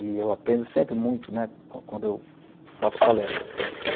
E eu aprendo sempre muito né, quando quando eu faço palestras.